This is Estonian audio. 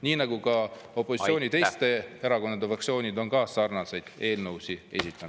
Nii nagu ka opositsiooni teiste erakondade fraktsioonid on ka sarnaseid eelnõusid esitanud.